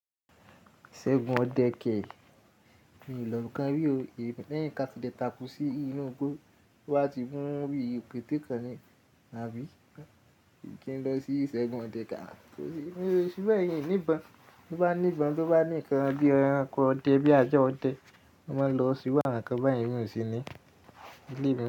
Isègùn ọdẹ kẹ́, mi ò lọ kan rí o. Lẹ́yìn ká fi dẹ takú sí inú igbó, wá ti mú rí òkété kan ni, àbí? Kí n lọ sí ìsègùn ọdẹ mi o fibe, mi ò ní ìbọn, to ba ní ìbọn, bí ó bá ní ǹkan bí ẹranko ọdẹ bí ajá ọdẹ, lo máa lọ se iru awon nkan báyen emi osi nii,